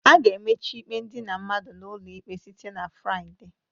A ga-emechi ikpe idina mmadụ n'ụlọ ikpe site na Fraịde